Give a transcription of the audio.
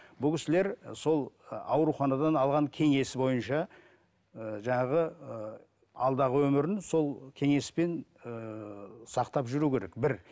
бұл кісілер сол ауруханадан алған кеңесі бойынша ы жаңағы ы алдағы өмірін сол кеңеспен ыыы сақтап жүру керек бір